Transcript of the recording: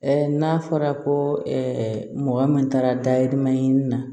n'a fɔra ko mɔgɔ min taara dayirimɛ ɲini na